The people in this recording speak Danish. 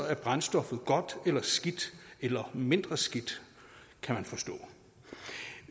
er brændstoffet godt eller skidt eller mindre skidt kan man forstå